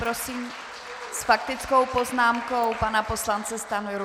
Prosím s faktickou poznámkou pana poslance Stanjuru.